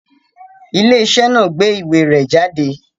Ilé-iṣẹ́ náà gbé ìwé rẹ jáde?